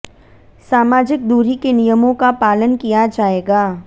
सामाजिक दूरी के नियमों का पालन किया जायेगा